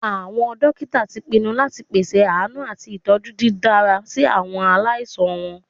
Awọn dokita ti pinnu lati pese aanu ati itọju didara si awọn alaisan wọn.